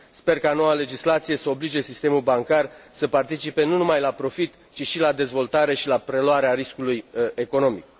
Sper ca noua legislație să oblige sistemul bancar să participe nu numai la profit, ci și la dezvoltare și la preluarea riscului economic.